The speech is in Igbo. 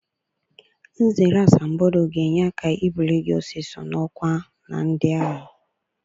Nzere asambodo ga-enye aka ibuli gị ọsịsọ n'ọkwa na ndị agha.